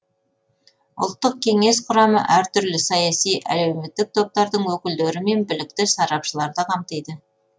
ұлттық кеңес құрамы әртүрлі саяси әлеуметтік топтардың өкілдері мен білікті сарапшыларды қамтиды